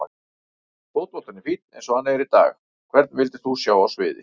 Fótboltinn er fínn eins og hann er í dag Hvern vildir þú sjá á sviði?